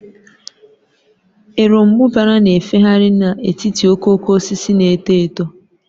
Erombubara na-efegharị n'etiti okooko osisi na-eto eto.